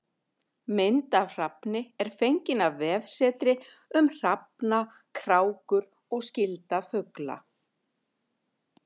Mynd af hrafni er fengin af vefsetri um hrafna, krákur og skyldra fugla.